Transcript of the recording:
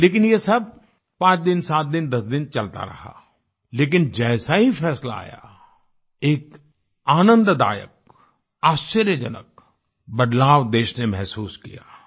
लेकिन ये सब पांच दिन सात दिन दस दिन चलता रहा लेकिन जैसा ही फैसला आया एक आनंददायक आश्चर्यजनक बदलाव देश ने महसूस किया